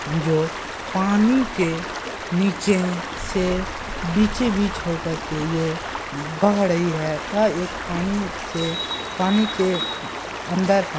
जो पानी के नीचे से बीचे बीच होकर के ये बह रही है यह एक पानी से पानी के अंदर है।